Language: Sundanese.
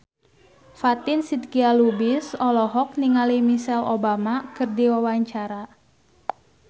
Fatin Shidqia Lubis olohok ningali Michelle Obama keur diwawancara